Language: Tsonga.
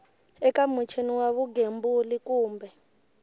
eka muchini wa vugembuli kumbe